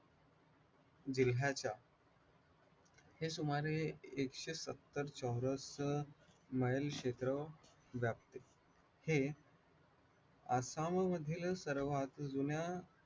जिल्ह्याच्या हे सुमारे एकशे सत्तर चौरस मेल क्षेत्र व्यापते, हे आसाममधील सर्वात जुन्या